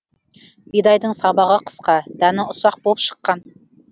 бидайдың сабағы қысқа дәні ұсақ болып шыққан